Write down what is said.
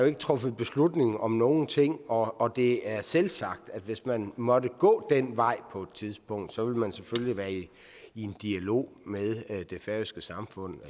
er truffet beslutning om nogen ting og det er selvsagt sådan at hvis man måtte gå den vej på et tidspunkt så vil man selvfølgelig være i i dialog med det færøske samfund